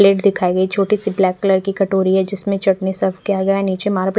plate दिखाई गई छोटी सी ब्लैक कलर की कटोरी है जिसमे चटनी सर्फ़ किया गया निचे मार्--